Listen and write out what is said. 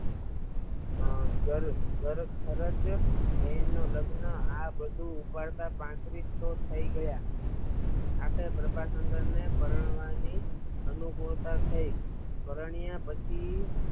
બહેન ના લગ્ન આ બધું ઉપાડતા પાંત્રીસો થય ગયાં આખરે પ્રભાશંકર ને પરણવાની અનુકૂળતા થઇ પરણ્યા પછી